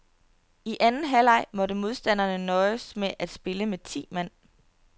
I anden halvleg måtte modstanderne nøjes med at spille med ti mand.